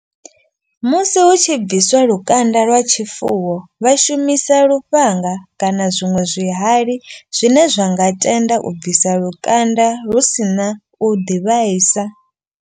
Musi hu tshi bviswa lukanda lwa tshifuwo vha shumisa lufhanga. Kana zwiṅwe zwihali zwine zwa nga tenda u bvisa lukanda hu sina u ḓi vhaisa.